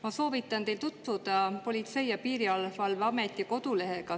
Ma soovitan teil tutvuda Politsei‑ ja Piirivalveameti kodulehega.